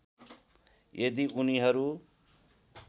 यदि उनीहरु